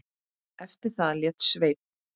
Eftir það lét Sveinn